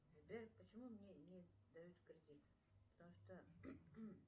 сбер почему мне не дают кредит потому что